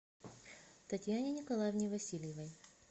татьяне николаевне васильевой